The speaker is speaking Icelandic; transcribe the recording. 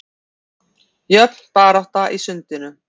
Jöfn barátta í sundinu